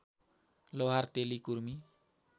लोहार तेली कुर्मी